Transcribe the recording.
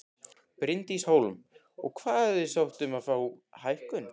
Bryndís Hólm: Og hafið þið sótt um að fá hækkun?